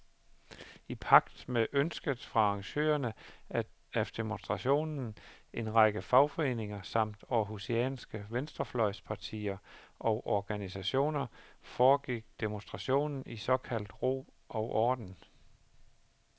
I pagt med ønsket fra arrangørerne af demonstrationen, en række fagforeninger samt århusianske venstrefløjspartier og organisationer, foregik demonstrationen i såkaldt god ro og orden.